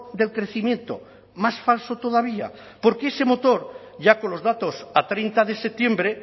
del crecimiento más falso todavía porque ese motor ya con los datos a treinta de septiembre